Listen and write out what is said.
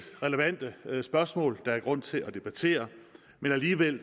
relevante spørgsmål der er grund til at debattere men alligevel